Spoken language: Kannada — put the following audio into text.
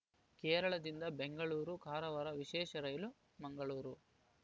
ಕೇರಳದಿಂದ ಬೆಂಗಳೂರು ಕಾರವಾರ ವಿಶೇಷ ರೈಲು ಮಂಗಳೂರು